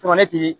Tuma ne tigi